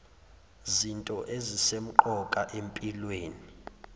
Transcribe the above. zinto ezisemqoka empilweni